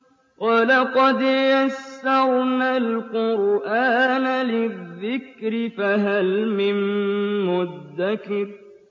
وَلَقَدْ يَسَّرْنَا الْقُرْآنَ لِلذِّكْرِ فَهَلْ مِن مُّدَّكِرٍ